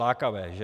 Lákavé, že!